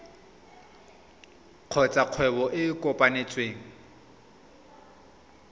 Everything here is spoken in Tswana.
kgotsa kgwebo e e kopetsweng